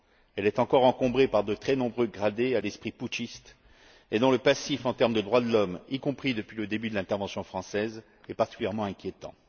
Elle est encore encombrée par de très nombreux gradés à l'esprit putschiste dont le passif, en termes de droits de l'homme, y compris depuis le début de l'intervention française, est particulièrement inquiétant.